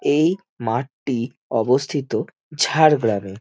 এই মাঠটি অবস্থিত ঝাড়গ্রাম এ।